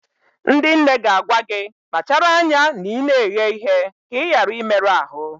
Ndị nne ga-agwa gị, kpachara anya na ị na-eghe ihe ka ị ghara ịmerụ ahụ